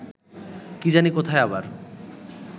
কি জানি কোথায় আবার